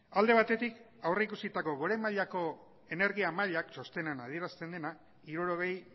alde batetik aurrikusitako gora mailako energia mailak txostenean adierazten dena hirurogei